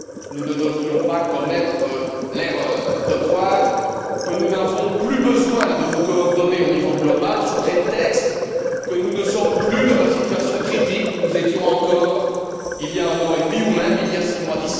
Nous ne devrions pas commettre l'erreur de croire que nous n'avons plus besoin de nous coordonner au niveau global sous prétexte que nous ne sommes plus dans la situation critique où nous étions encore il y a un an et demi, voire il y a six mois.